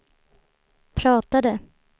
pratade